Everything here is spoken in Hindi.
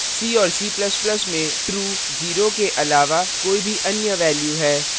c और c ++ में true 0 के अलावा कोई भी any value है